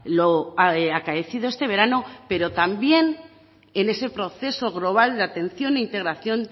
lo acaecido este verano pero también en ese proceso global de atención e integración